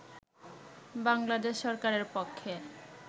বাংলাদেশ সরকারের পক্ষে